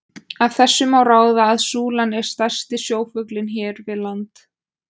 Af þessu má ráða að súlan er stærsti sjófuglinn hér við land.